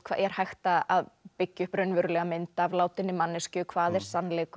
er hægt að byggja upp raunverulega mynd af látinni manneskju hvað er sannleikur